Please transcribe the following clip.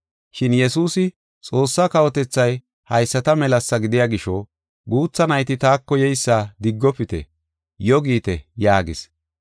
Shin Yesuusi, “Xoossaa kawotethay haysata melasa gidiya gisho, guutha nayti taako yeysa diggofite; yo giite” yaagis.